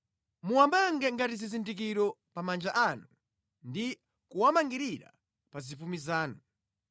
Muwamange ngati zizindikiro pa manja anu ndi kuwamangirira pa zipumi zanu.